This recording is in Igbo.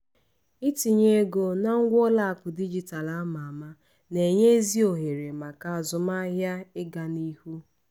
itinye ego na ngwa ụlọakụ dijitalụ ama ama na-enye ezi ohere maka azụmahịa ịgaa n'ihu.